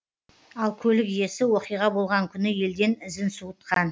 ал көлік иесі оқиға болған күні елден ізін суытқан